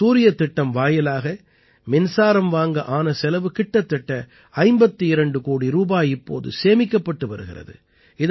இந்தச் சூரியத் திட்டம் வாயிலாக மின்சாரம் வாங்க ஆன செலவு கிட்டத்தட்ட 52 கோடி ரூபாய் இப்போது சேமிக்கப்பட்டு வருகிறது